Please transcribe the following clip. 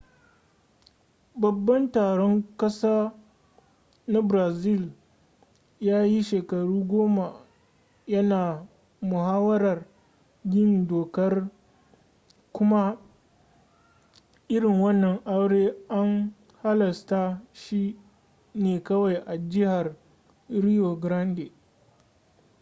babban taron ƙasa na brazil ya yi shekaru goma ya na muhawarar yin dokar kuma irin wannan aure an halasta shi ne kawai a jihar rio grande